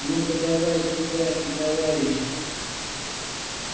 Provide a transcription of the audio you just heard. ну подавай сюда и товарища